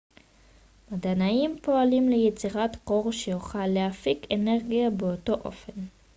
מדענים פועלים ליצירת כור שיוכל להפיק אנרגיה באותו אופן